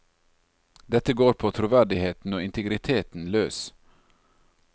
Dette går på troverdigheten og integriteten løs.